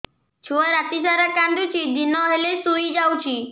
ଛୁଆ ରାତି ସାରା କାନ୍ଦୁଚି ଦିନ ହେଲେ ଶୁଇଯାଉଛି